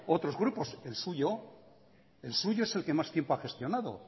otros grupos el suyo el suyo es el que más tiempo ha gestionado